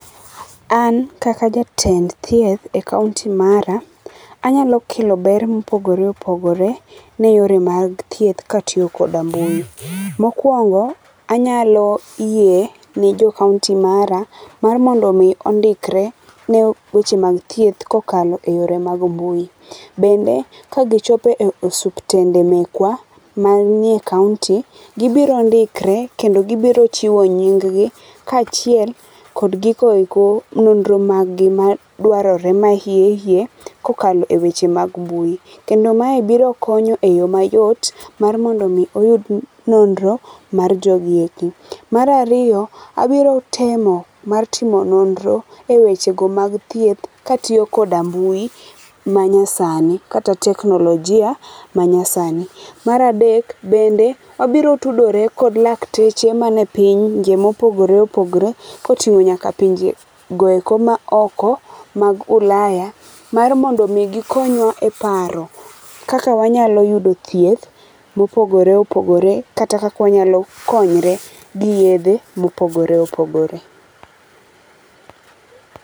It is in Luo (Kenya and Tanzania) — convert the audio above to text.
An kaka jatend thieth e kaonti mara, anyalo kelo ber mopogore opogore, ne yore mag thieth ka atiyo koda mbui. Mokuongo anyalo yie ne jo kaonti mara mar mondo ondikre ne weche mag thieth kokalo e yore mag mbui. Bende ka gichopo e osiptende mekwa, manie kaounti, gibiro ndikre kendo gibiro chiwo nying gi kachiel kod gigo eko, nonro mag gi ma madwarore hiye hiye kokalo eweche mag mbui kendo mae biro konyo eyo mayot mar mondo mi oyud nonro mar jogi eki. Mar ariyo abiro temo mar timo nonro ewechego mag thieth katiyo kod mbui manyasani kata teknolojia manyasani. Mar adek, bende abiro tudore kod lakteche mag pinje mopogore opogore koting'o nyaka pinje maoko mag ulaya mar mondo mi gikonywa e paro kaka wanyalo yudo thieth mopogore opogore kata kaka wanyalo konyore giyedhe mopogore opogore.